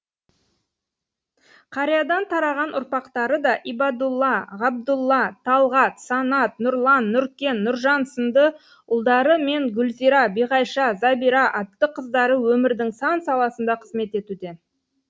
қариядан тараған ұрпақтары да ибадулла ғабдулла талғат санат нұрлан нұркен нұржан сынды ұлдары мен гүлзира биғайша забира атты қыздары өмірдің сан саласында қызмет етуде